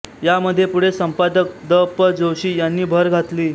यामध्ये पुढे संपादक द पं जोशी यांनी भर घातली